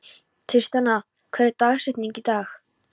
Tristana, hver er dagsetningin í dag?